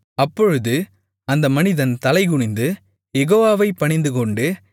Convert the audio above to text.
அப்பொழுது அந்த மனிதன் தலைகுனிந்து யெகோவாவை பணிந்துகொண்டு